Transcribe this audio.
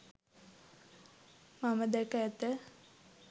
මම දැක ඇත